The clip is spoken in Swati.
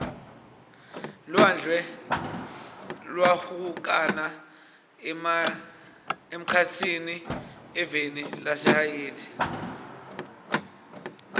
lwandle lwahlukana emkhatsini eveni lase haiti